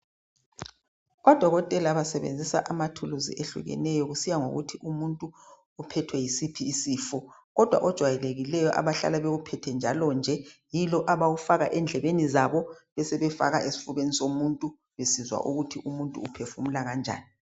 Odokotela basebenzisa amathuluzi ehlukeneyo kusiya ngokuthi umuntu uphethwe yisiphi isifo, kodwa ojayelekileyo abahlala bewuphethe njalo nje yilo abawufaka endlebeni zabo besebefaka esfubeni somuntu besizwa ukuthi umuntu uphefumula kanjani.